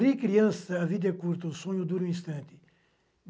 Ri criança, a vida é curta, o sonho dura um instante.